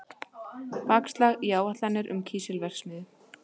Bakslag í áætlanir um kísilverksmiðju